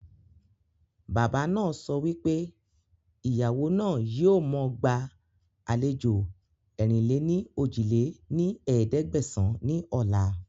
Bàbá náà so wípé Ìyàwó náà yìí ó mọ gba àlejò ẹ̀rin-lé-ní-ojì lé ní ẹ̀ẹ́dẹ́gbẹ́sán ni ọ̀la